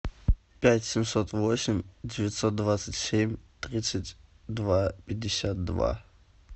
пять семьсот восемь девятьсот двадцать семь тридцать два пятьдесят два